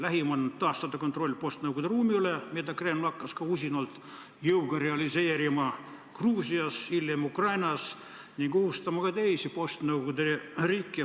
Lähim eesmärk on taastada kontroll postnõukogude ruumi üle, mida Kreml hakkas ka usinalt jõuga realiseerima Gruusias, hiljem Ukrainas, ning ohustama ka teisi postnõukogude riike.